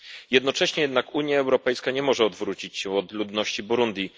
Jednocześnie jednak Unia Europejska nie może odwrócić się od ludności Burundi.